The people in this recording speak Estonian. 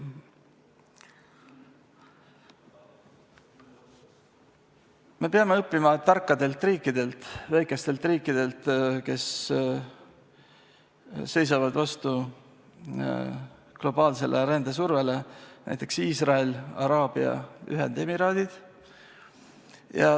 Me peame õppima tarkadelt riikidelt, väikestelt riikidelt, kes seisavad vastu globaalsele rändesurvele, näiteks Iisrael või Araabia Ühendemiraadid.